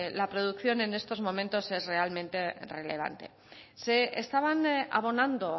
la producción es estos momentos es realmente relevante se estaban abonando o